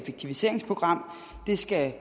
der skal